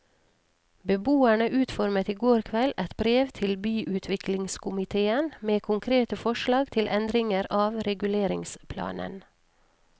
Beboerne utformet i går kveld et brev til byutviklingskomitéen med konkrete forslag til endringer av reguleringsplanen.